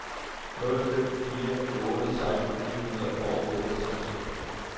nul fem fire otte seksten fire hundrede og otteogtres